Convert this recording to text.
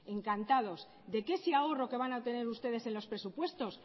de que ese ahorro que van a obtener ustedes en los presupuestos